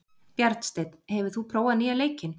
Bjarnsteinn, hefur þú prófað nýja leikinn?